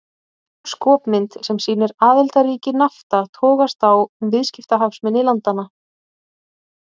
Skopmynd sem sýnir aðildarríki Nafta togast á um viðskiptahagsmuni landanna.